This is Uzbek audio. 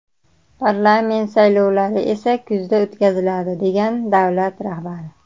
Parlament saylovlari esa kuzda o‘tkaziladi”, degan davlat rahbari.